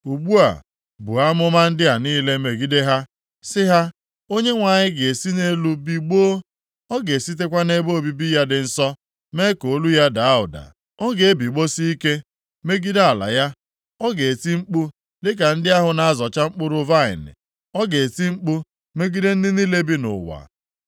“Ugbu a buo amụma ndị a niile megide ha, sị ha, “‘ Onyenwe anyị ga-esi nʼelu bigbọọ; ọ ga-esitekwa nʼebe obibi ya dị nsọ mee ka olu ya daa ụda. Ọ ga-ebigbọsị ike megide ala ya Ọ ga-eti mkpu dịka ndị ahụ na-azọcha mkpụrụ vaịnị; ọ ga-eti mkpu megide ndị niile bi nʼụwa.